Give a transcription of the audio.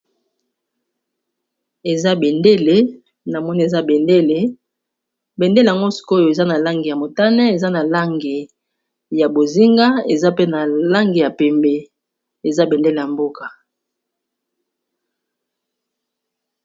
Eza bendele na moni eza bendele bendele yango sikoyo eza na langi ya motane eza na langi ya bozinga eza pe na langi ya pembe eza bendele ya mboka.